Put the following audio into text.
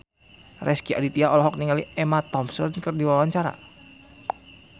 Rezky Aditya olohok ningali Emma Thompson keur diwawancara